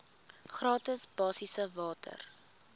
gratis basiese water